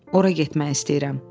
Ora getmək istəyirəm.